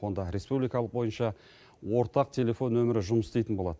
онда республика бойынша ортақ телефон нөмірі жұмыс істейтін болады